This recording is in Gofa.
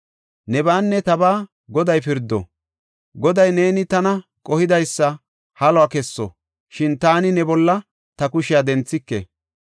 Nebaanne tabaa Goday pirdo; Goday neeni tana qohidaysa haluwa kesso, shin taani ne bolla ta kushiya denthike.